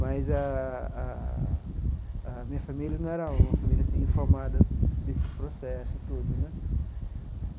Mas a a a minha família não era uma família assim informada desses processo todo né.